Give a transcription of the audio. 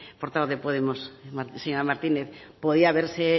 portavoz de podemos señor martínez podría haberse